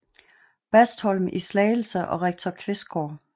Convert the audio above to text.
Bastholm i Slagelse og rektor Qvistgaard